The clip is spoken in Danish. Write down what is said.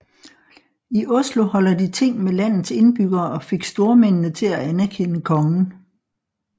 I Oslo holdt de ting med landets indbyggere og fik stormændene til at anerkende kongen